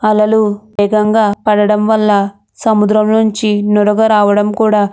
అలలు వేగంగా పడడం వల్ల సముద్రం నుంచి నురగ రావడం కూడా --